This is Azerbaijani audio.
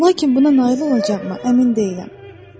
Lakin buna nail olacaqmı, əmin deyiləm.